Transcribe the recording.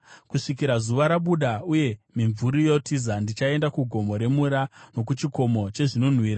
Kusvikira zuva rabuda uye mimvuri yotiza, ndichaenda kugomo remura nokuchikomo chezvinonhuhwira.